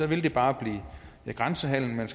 vil bare føre til grænsehandel